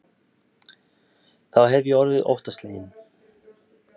Þá hef ég orðið óttasleginn.